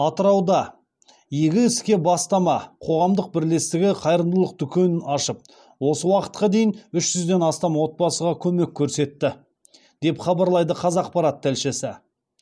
атырауда игі іске бастама қоғамдық бірлестігі қайырымдылық дүкенін ашып осы уақытқа дейін үш жүзден астам отбасыға көмек көрсетті деп хабарлайды қазақпарат тілшісі